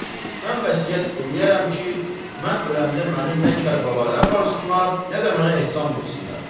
Mən vəsiyyət eləyərəm ki, mən öləndə məni nə Kərbəlaya aparsınlar, nə də mənə ehsan versinlər.